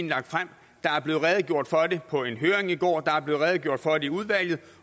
lagt frem der er blevet redegjort for det på en høring i går der er blevet redegjort for det i udvalget